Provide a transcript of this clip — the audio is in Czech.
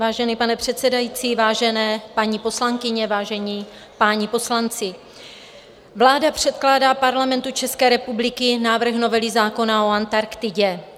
Vážený pane předsedající, vážené paní poslankyně, vážení páni poslanci, vláda předkládá Parlamentu České republiky návrh novely zákona o Antarktidě.